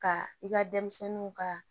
Ka i ka denmisɛnninw ka